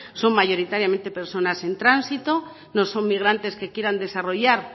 son mayoritariamente personas en tránsito no son migrantes que quieran desarrollar